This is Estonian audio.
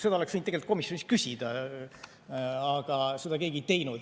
Seda oleks võinud tegelikult komisjonis küsida, aga seda keegi ei teinud.